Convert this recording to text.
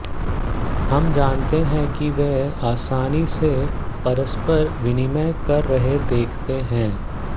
हम जानते हैं कि वे आसानी से परस्पर विनिमय कर रहे देखते हैं